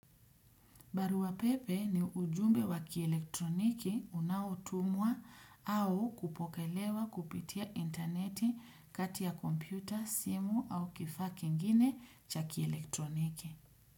Barua pepe ni ujumbe wakielektroniki unaotumwa au kupokelewa kupitia interneti kati ya kompyuta, simu au kifaka kingine cha kielektroniki.